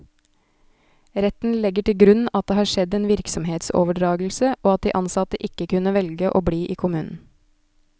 Retten legger til grunn at det har skjedd en virksomhetsoverdragelse, og at de ansatte ikke kunne velge å bli i kommunen.